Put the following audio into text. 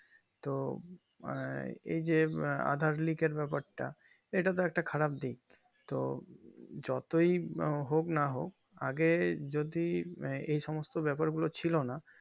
তো আঃ এইযে aadhaar like এর ব্যাপার তা এটাতো একটা খারাপ দিক তো যতই হোক না হোক আগে যদি এই সমস্ত ব্যাপার গুলো ছিল না